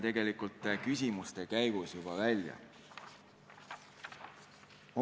See tuli küsimuste käigus ka välja.